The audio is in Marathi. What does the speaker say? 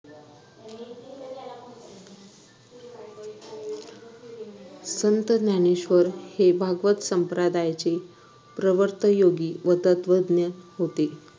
संत ज्ञानेश्वर हे भागवत संप्रदायचे प्रवर्तयोगी व तत्वज्ञ होते